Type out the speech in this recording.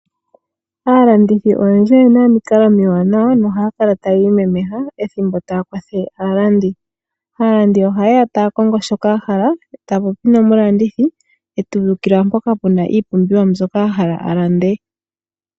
Aalandithi oyendji oye na omikalo omiwaanawa nohaya kala ta ya imemeha ethimbo ta ya kwathele aalandi. Aalandi oha yeya ta ya kongo shoka ya hala ta ya popi nomulandithi e tu ulikilwa mpoka puna iipumbiwa mbyoka a hala a lande.